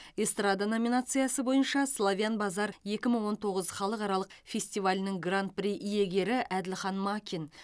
эстрада номинациясы бойынша славян базар екі мың он тоғыз халықаралық фестивалінің гран при иегері әділхан макин